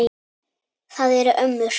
Það eru ömmur.